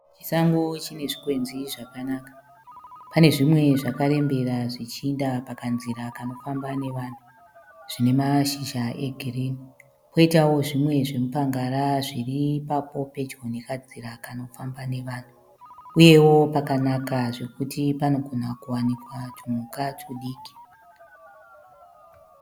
Chisango chine zvikwenzi zvakanaka, pane zvimwe zvakarembera zvichiinda pakanzira kanofamba nevanhu zvine mashizha egirini koitawo zvimwe zvemupangara zviri ipapo pedyo nekanzira kanofamba nevanhu uyewo pakanaka zvekuti panogona kuwanikwa tumhuka tudiki.